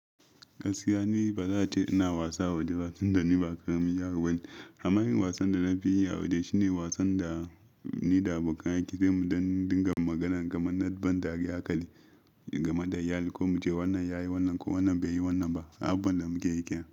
Gaskiya ni ba za a ce ina wasa a waje ba tunda ni ba karamin yaro bane. Amma yin wasan da na fi yi a waje shine wasan da nida abokan aikina zamu yi don dinga magana game da banza da yakali game da yayi ko muce wannan yayi wannan ko wannan bai yi wannan ba. Abubuwan da muke yake.